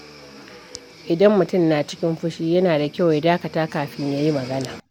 Idan mutum na cikin fushi, yana da kyau ya dakata kafin ya yi magana.